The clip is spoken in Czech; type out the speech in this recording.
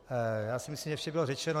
Já si myslím, že vše bylo řečeno.